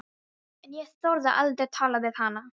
En ég þorði aldrei að tala við hana.